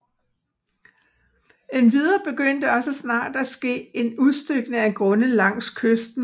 Endvidere begyndte også snart at ske en udstykning af grunde langs kysten